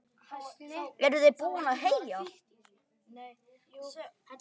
Eruð þið búin að heyja?